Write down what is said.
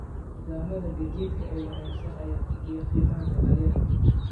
Nidaamyada gaadiidka ee wanaagsan ayaa kordhiya qiimaha dalagyada.